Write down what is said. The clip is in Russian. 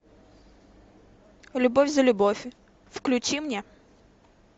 любовь за любовь включи мне